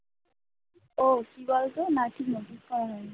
ও কি বলতো?